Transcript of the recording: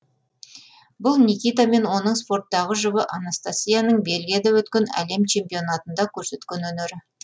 бұл никита мен оның спорттағы жұбы анастасияның бельгияда өткен әлем чемпионатында көрсеткен өнері